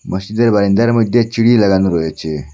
মসজিদের বাইন্দার মইধ্যে চিড়ি লাগানো রয়েছে।